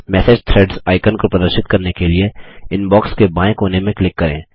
message threads icon को प्रदर्शित करने के लिए इनबॉक्स के बायें कोने में क्लिक करें